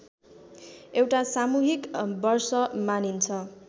एउटा सामूहिक वर्ष मानिन्छ